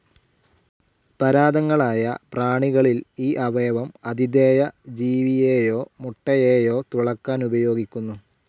പരാദങ്ങളായ പ്രാണികളിൽ ഈ അവയവം ആതിഥേയ ജീവിയെയോ മുട്ടയെയോ തുളക്കാൻ ഉപയോഗിക്കുന്നു.